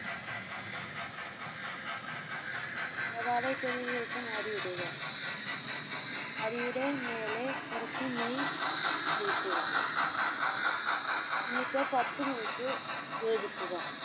സവാള ഇട്ടതിന് ശേഷം അരി ഇടുക അരിയുടെ മേലെ കുറച്ച് നെയ് ഒഴിക്കുക എന്നിട്ട് പത്തു minute വേവിക്കുക